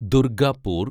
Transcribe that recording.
Durgapur